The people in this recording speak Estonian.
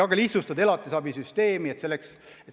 Ka tuleks elatisabisüsteemi lihtsustada.